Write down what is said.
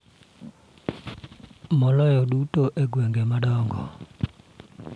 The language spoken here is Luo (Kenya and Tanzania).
Maloyo duto e gwenge madongo.